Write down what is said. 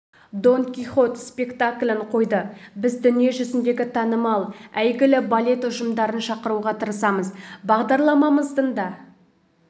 дон кихот спектаклін қойды біз дүние жүзіндегі танымал әйгілі балет ұжымдарын шақыруға тырысамыз бағдарламамыздың да